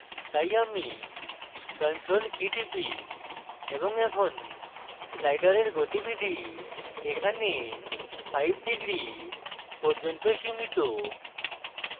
তাই আমি control key টিপি এবং এখন slider গতিবিধি এখানে 5 degrees পর্যন্ত সীমিত